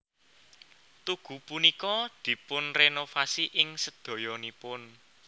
Tugu punika dipunrenovasi ing sedayanipun